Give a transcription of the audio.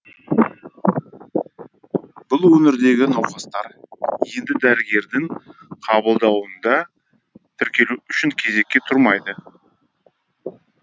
бұл өңірдегі науқастар енді дәрігердің қабылдауында тіркелу үшін кезекке тұрмайды